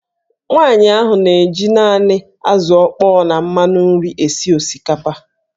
Nwaanyị ahụ na-eji naanị azụ̀ ọkpọọ na mmanụ nri esi osikapa.